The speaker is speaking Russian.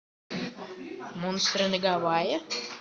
монстры на гавайях